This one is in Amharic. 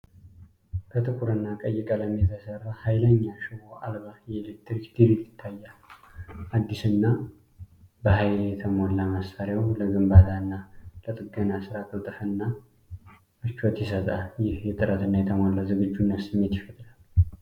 በጥቁርና ቀይ ቀለም የተሰራ ኃይለኛ ሽቦ አልባ የኤሌክትሪክ ድሪል ይታያል። አዲስና በሃይል የተሞላው መሳሪያው ለግንባታና ለጥገና ስራ ቅልጥፍናንና ምቾትን ይሰጣል። ይህ የጥራትና የተሟላ ዝግጁነት ስሜት ይፈጥራል።